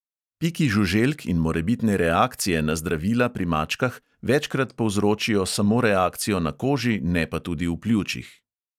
Piki žuželk in morebitne reakcije na zdravila pri mačkah večkrat povzročijo samo reakcijo na koži, ne pa tudi v pljučih.